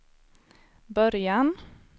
början